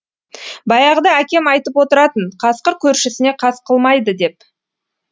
баяғыда әкем айтып отыратын қасқыр көршісіне қас қылмайды деп